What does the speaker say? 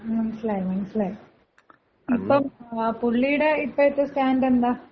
മ്, മനസ്സിലായി മനസ്സിലായി. ഇപ്പം പുള്ളിയുടെ ഇപ്പഴത്തെ സ്റ്റാൻഡ് എന്താ?